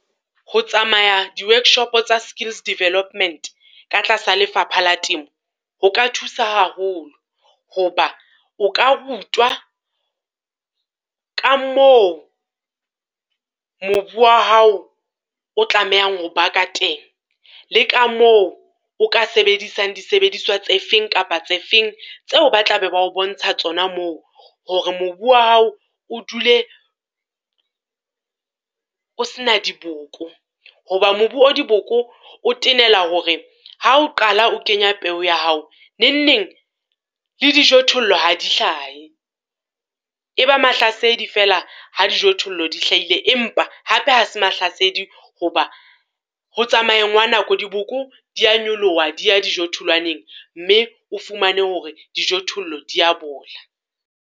Ho tsamaya di-workshop-o tsa skills development ka tlasa lefapha la temo, ho ka thusa haholo. Ho ba o ka rutwa ka moo mobu wa hao o tlamehang ho ba ka teng, le ka moo o ka sebedisang disebediswa tse feng kapa tse feng, tseo ba tla be ba ho bontsha tsona moo, hore mobu wa hao o dule o se na diboko. Ho ba mobu o diboko, o tenela hore ha o qala o kenya peo ya hao, nengneng le dijothollo ha di hlahe. E ba mahlasedi fela ha dijothollo di hlahile, empa hape ha se mahlasedi ho ba ho tsamayeng ha nako diboko di ya nyoloha, di ya dijotholwaneg, mme o fumane hore dijothollo di ya bola.